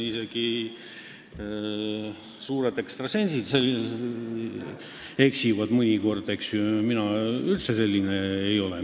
Isegi suured ekstrasensid eksivad mõnikord, mina aga üldse selline inimene ei ole.